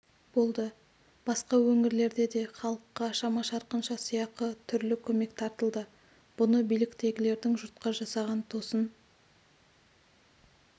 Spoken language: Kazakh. болды басқа өңірлерде де халыққа шама-шарқынша сыйақы түрлі көмек таратылды бұны биліктегілердің жұртқа жасаған тосын